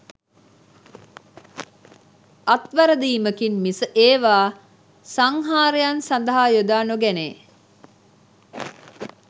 අත්වැරදීමකින් මිස ඒවා සංහාරයන් සඳහා යොදා නොගැනේ